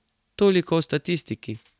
Toliko o statistiki.